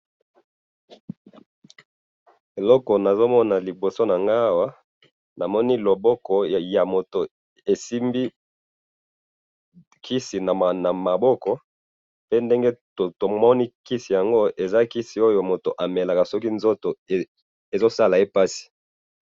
Eloko nazomona liboso nanga awa, namoni loboko ya moto esimbi kisi namaboko, pe ndenge tomoni kisi yango eza kisi oyo mutu amelaka soki nzoto ezosala ye pasi.